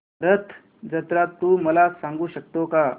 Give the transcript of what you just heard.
रथ जत्रा तू मला सांगू शकतो का